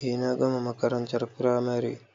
Eh na gama makarantar firamare